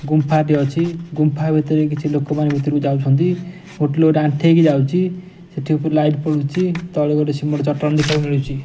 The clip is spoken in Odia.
ଗୁମ୍ଫା ଟେ ଅଛି ଗୁମ୍ଫା ଭିତରେ କଛି ଲୋକେ ମାନେ ଭିତର କୁ ଯାଇଛନ୍ତି ଗୋଟେ ଲୋକେ ଟେ ଆଂଠେଇ କି ଯାଉଚି ସେଠି ଉପରୁ ଲାଇଟ୍ ପଡ଼ୁଚି ତଳେ ଗୋଟେ ସିମେଣ୍ଟ ଚଟାଣ ଦେଖିବାକୁ ମିଳୁଚି ।